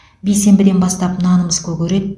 бейсенбіден бастап нанымыз көгереді